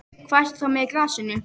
Hvað ertu þá með í glasinu?